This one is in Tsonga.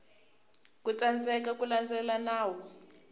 ku tsandzeka ku landzelela nawu